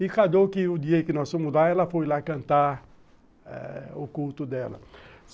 E cada dia que nós fomos lá, ela foi lá cantar o culto dela.